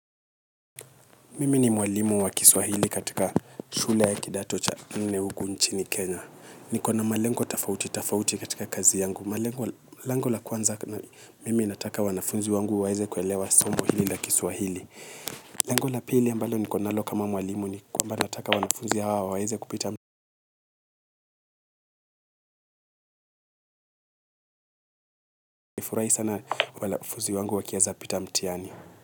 Mimi ni mwalimu wa kiswahili katika shule ya kidato cha nne huku inchini Kenya. Nikona malengo tafauti, tafauti katika kazi yangu. Lengo la kwanza, mimi nataka wanafunzi wangu waeze kuelewa somo hili la kiswahili. Lengo la pili ambalo nikonalo kama mwalimu ni kwamba nataka wanafunzi hawa waeze kupita mtihani. Nitafurahi sana wanafuzi wangu wakieza pita mtihani.